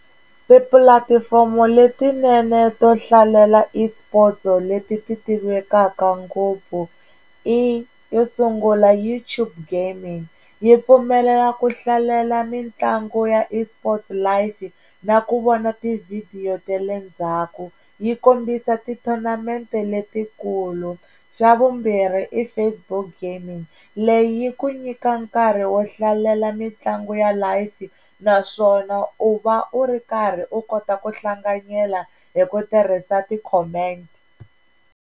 Tipulatifomo letinene to hlalela eSports leti ti tivekaka ngopfu i yo sungula YouTube gaming yi pfumelela ku hlalela mitlangu ya eSports live na ku vona tivhidiyo ta le ndzhaku, yi kombisa ti-tournament-e letikulu, xa vumbirhi i Facebook gaming leyi yi ku nyika nkarhi wo hlalela mitlangu ya live naswona u va u ri karhi u kota ku hlanganyela hi ku tirhisa ti-comment.